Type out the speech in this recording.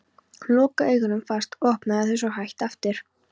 Hún lokaði augunum fast og opnaði þau svo hægt aftur.